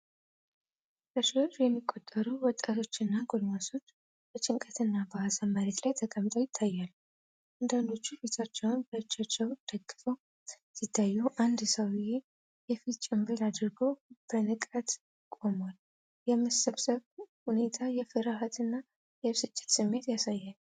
በመቶዎች የሚቆጠሩ ወጣቶችና ጎልማሶች በጭንቀት እና በሀዘን መሬት ላይ ተቀምጠው ይታያሉ። አንዳንዶቹ ፊታቸውን በእጃቸው ደግፈው ሲታዩ፤ አንድ ሰውዬ የፊት ጭንብል አድርጎ በንቃት ቆሟል። የመሰብሰቡ ሁኔታ የፍርሃት እና የብስጭት ስሜት ያሳያል።